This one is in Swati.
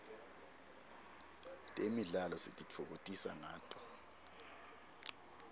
temidlalo sititfokotisa ngato